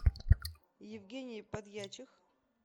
евгений подьячих